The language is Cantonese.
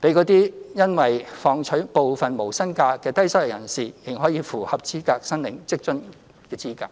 讓因要放取部分無薪假的低收入人士仍可符合申領職津的資格。